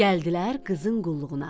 Gəldilər qızın qulluğuna.